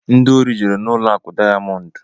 Ndị ori jere n'ụlọ akụ Dayamondu.